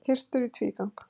Hirtur í tvígang